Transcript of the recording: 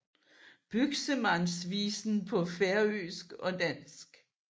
Buxemands Visen paa Færøisk og Dansk